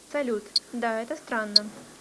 салют да это странно